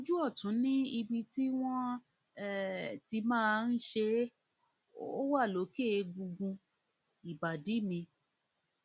ojú ọtún ni ibi tí wọn um ti máa ṣe é ó wà lókè egungun lókè egungun ìbàdí mi